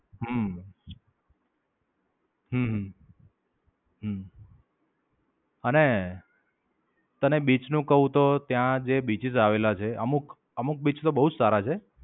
હમ